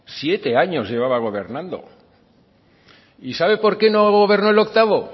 siete años llevaba gobernando sabe por qué no gobernó el octavo